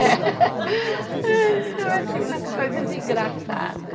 Ai, também tinham umas coisas engraçadas.